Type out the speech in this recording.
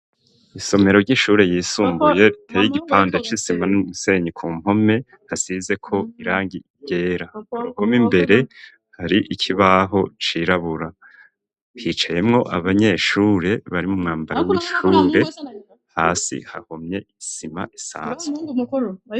Isomero ry'ishure ryisumbuye riteye igipande c'isima n'umusenyi ku mpome, hasizeko irangi ryera kumpome imbere hari ikibaho cirabura hicayemwo abanyeshure bari mu mwambara w'ishure hasi hahomye isima isanzwe.